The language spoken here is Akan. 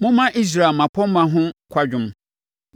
“Momma Israel mmapɔmma ho kwadwom